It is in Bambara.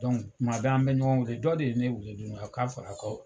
Dɔnku tuma bɛɛ an bɛ ɲɔgɔn weele, dɔ de ye ne weele k'a fara ko